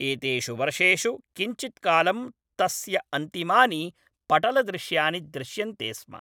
एतेषु वर्षेषु किञ्चित्कालं तस्य अन्तिमानि पटलदृश्यानि दृश्यन्ते स्म।